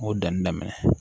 N y'o danni daminɛ